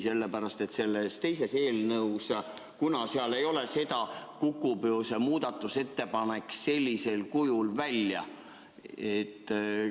Seda sellepärast, et sellest teisest eelnõust, kuna seal ei ole enam seda, kukub ju ka see muudatusettepanek sellisel kujul välja.